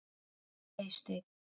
Eysteinn